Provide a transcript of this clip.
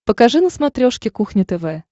покажи на смотрешке кухня тв